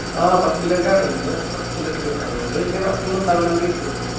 ആഹ് first leg ആണ് ഇന്ന് first leg അതുകൊണ്ട് വലിയ പ്രശ്നം ഒന്നുംണ്ടാവില്ല എന്ന് കരുതുന്നു